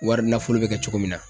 Wari nafolo bɛ kɛ cogo min na